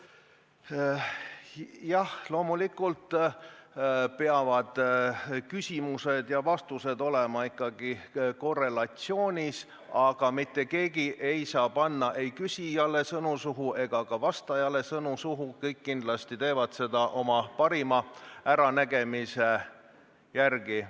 Jah, loomulikult peavad küsimused ja vastused olema korrelatsioonis, aga mitte keegi ei saa panna ei küsijale ega vastajale sõnu suhu, kõik küsivad ja vastavad oma parima äranägemise järgi.